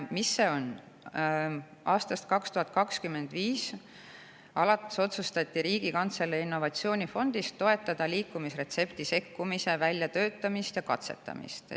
Alates aastast 2025 otsustati Riigikantselei innovatsioonifondist toetada liikumisretsepti sekkumise väljatöötamist ja katsetamist.